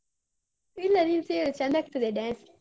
ಇಲ್ಲ ನೀನ್ ಸೇರು ಚೆಂದಾಗ್ತದೆ dance.